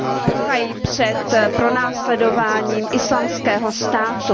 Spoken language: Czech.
Prchají před pronásledováním Islámského státu.